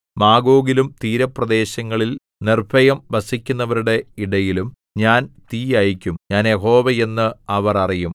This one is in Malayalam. മാഗോഗിലും തീരപ്രദേശങ്ങളിൽ നിർഭയം വസിക്കുന്നവരുടെ ഇടയിലും ഞാൻ തീ അയയ്ക്കും ഞാൻ യഹോവ എന്ന് അവർ അറിയും